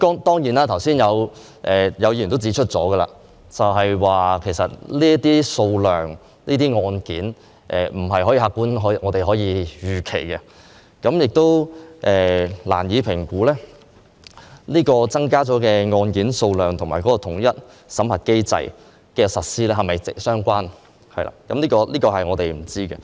當然，有議員剛才亦指出，這些案件的數量，不是我們可以客觀預期的，我們亦難以評估增加的案件數量及統一審核機制的實施是否相關；相關答案，我們都不清楚。